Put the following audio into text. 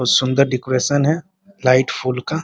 बहुत सुन्दर डेकोरेशन है लाइट फूल का --